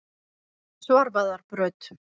Svarfaðarbraut